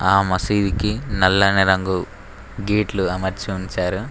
ఆ మసీదికి నల్లని రంగు గేట్లు అమర్చి ఉంచారు.